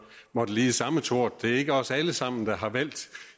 måtte lide samme tort det er ikke os alle sammen der har valgt